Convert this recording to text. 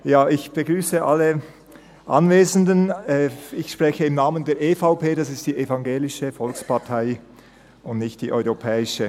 Ich spreche im Namen der EVP, das ist die Evangelische Volkspartei, und nicht die Europäische.